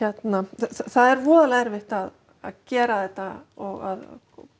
það er voðalega erfitt að að gera þetta og